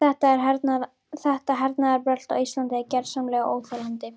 Þetta hernaðarbrölt á Íslandi er gersamlega óþolandi.